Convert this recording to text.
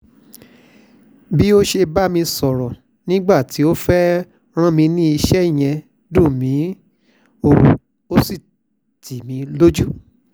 bó ṣe bá mi sọ̀rọ̀ nígbà tó fẹ́ẹ́ rán mi níṣẹ́ yẹn dùn mí ó sì tì mí lójú